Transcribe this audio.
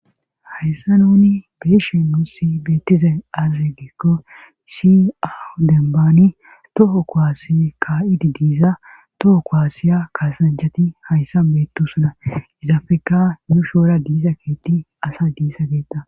hayssa nuni beeshin nusi beettize azegikko si au dembaani toho koaasi kaa7idi diiza toho kowaassiya kaasanjati hayssa beettusuna izafeka yuu shoora diisa kieti asa diisa geetta